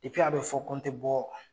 a be fɔ ko n te bɔ